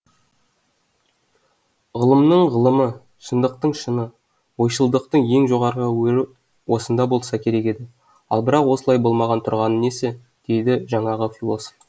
ғылымның ғылымы шындықтың шыны ойшылдықтың ең жоғарғы өрі осында болса керек еді ал бірақ осылай болмай тұрғаны несі дейді жаңағы философ